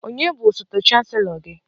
Ònye bụ osote chancelo gị?